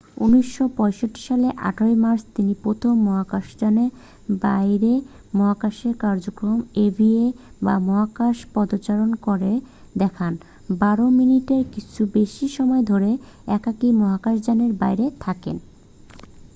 "১৯৬৫ সালের ১৮ মার্চে তিনি প্রথম মহাকাশযানের বাইরে মহাকাশে কার্যক্রম ইভিএ বা "মহাকাশ পদচারণা" করে দেখান বারো মিনিটের কিছু বেশি সময় ধরে একাকী মহাকাশযানের বাইরে থাকেন।